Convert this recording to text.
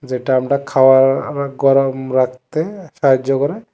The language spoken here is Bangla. যেটা আমরা খাওয়ার আঃ গরম রাখতে সাহায্য করে।